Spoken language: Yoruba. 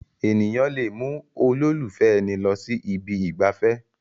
Èèyàn lè mú olólùfẹ́ ẹni lọ sí ibi ìgbafẹ́